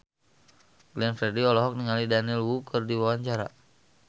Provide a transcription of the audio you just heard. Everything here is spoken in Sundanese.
Glenn Fredly olohok ningali Daniel Wu keur diwawancara